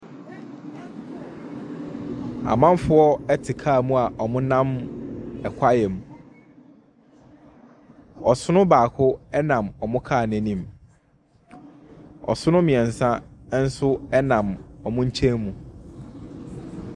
Amanfoɔ te car mu a wɔnam kwae mu. Ɔsono baako nam wɔn car no anim. Ɔsono mmiɛnsa nam wɔn nkyɛmu.